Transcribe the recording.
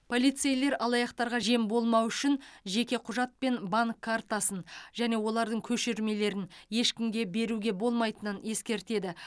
полицейлер алаяқтарға жем болмау үшін жеке құжат пен банк картасын және олардың көшірмелерін ешкімге беруге болмайтынын ескертеді